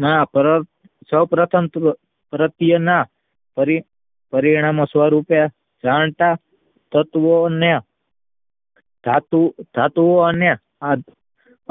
ના સૌ પ્રથમ પ્રત્યેના પરિણામે સ્વરૂપે વળતા તત્વોને ધાતુઓ અને